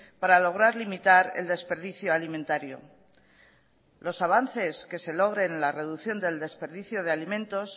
para lograr limitar el desperdicio alimentario los avances que se logren en la reducción del desperdicio de alimentos